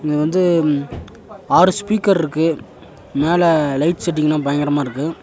இங்க வந்து ஆறு ஸ்பீக்கர்ருக்கு மேல லைட் செட்டிங்லா பயங்கரமா இருக்கு.